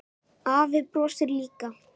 Afi brosir líka.